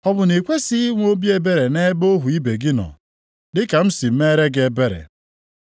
Ọ bụ na ị kwesighị inwe obi ebere nʼebe ohu ibe gị nọ, dị ka m si mere gị ebere?’